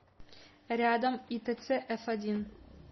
рядом итц эфодин